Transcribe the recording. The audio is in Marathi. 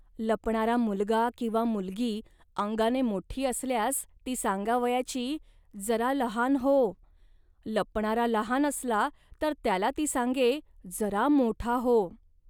लपणारा मुलगा किंवा मुलगी अंगाने मोठी असल्यास ती सांगावयाची "जरा लहान हो. लपणारा लहान असला, तर त्याला ती सांगे, "जरा मोठा हो